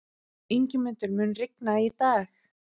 Ingimundur, mun rigna í dag?